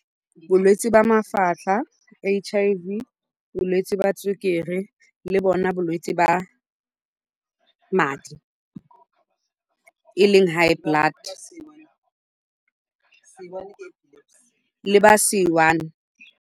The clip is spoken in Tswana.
Bolwetse jwa mafatlha, H_I_V, bolwetse jwa sukiri le bona bolwetsi jwa madi, e leng high blood, le jwa C one.